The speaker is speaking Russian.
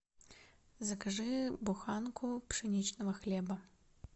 закажи буханку пшеничного хлеба